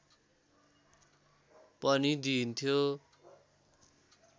पनि दिइन्थ्यो